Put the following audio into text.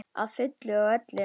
Að fullu og öllu.